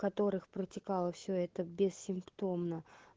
которых протекало все это бессимптомно